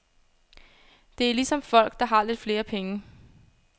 Det er ligesom folk, der har lidt flere penge.